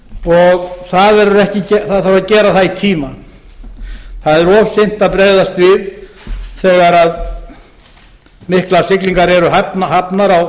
og það þarf að gera það í tíma það er of seint að bregðast við þegar miklar siglingar eru hafnar